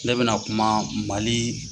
Ne bɛna kuma Mali